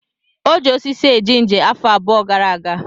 O ji osisi eje ije afọ abụọ gara aga.